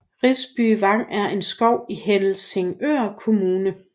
Risby Vang er en skov i Helsingør Kommune